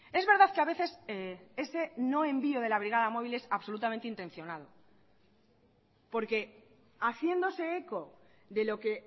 es verdad que a veces ese no envío de la brigada móvil es absolutamente intencionado porque haciéndose eco de lo que